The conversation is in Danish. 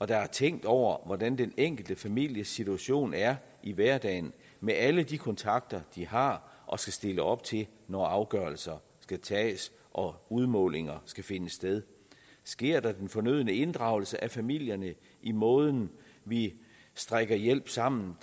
der er tænkt over hvordan den enkelte families situation er i hverdagen med alle de kontakter de har og skal stille op til når afgørelser skal tages og udmålinger skal finde sted sker der den fornødne inddragelse af familierne i måden vi strikker hjælp sammen